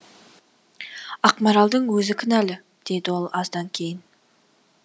ақмаралдың өзі кінәлі деді ол аздан кейін